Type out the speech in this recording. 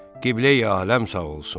Qibləyi-aləm sağ olsun.